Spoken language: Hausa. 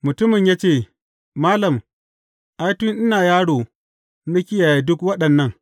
Mutumin ya ce, Malam, ai, tun ina yaro na kiyaye duk waɗannan.